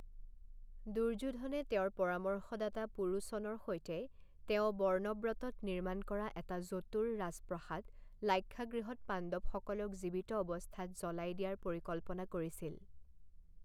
দুৰ্যোধনে তেওঁৰ পৰামৰ্শদাতা পুৰোচনৰ সৈতে তেওঁ বৰ্ণব্ৰতত নিৰ্মাণ কৰা এটা জতুৰ ৰাজপ্ৰসাদ লাক্ষাগৃহত পাণ্ডৱসকলক জীৱিত অৱস্থাত জ্বলাই দিয়াৰ পৰিকল্পনা কৰিছিল ।